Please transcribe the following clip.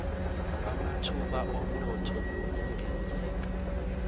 lwamathuba omnotho nokungenzeka